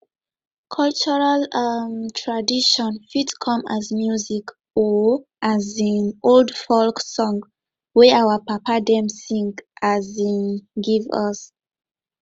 cultural um traditon fit come as music or um old folk song wey our papa dem sing um give us